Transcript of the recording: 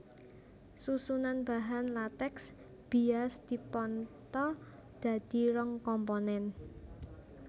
Susunan bahan latèks bias dipantha dadi rong komponen